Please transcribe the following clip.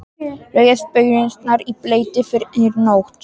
Leggið baunirnar í bleyti yfir nótt.